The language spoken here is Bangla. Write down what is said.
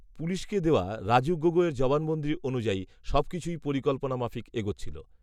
পুলিশকে দেওয়া রাজু গগৈয়ের জবানবন্দি অনুযায়ী, সবকিছুই পরিকল্পনা মাফিক এগোচ্ছিল